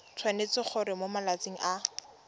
tshwanetse gore mo malatsing a